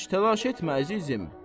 Heç təlaş etmə, əzizim.